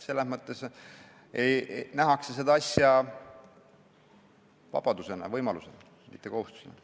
Seda asja nähakse vabadusena, võimalusena, mitte kohustusena.